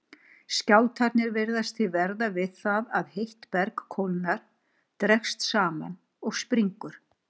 Skjálftarnir virðast því verða við það að heitt berg kólnar, dregst saman og springur.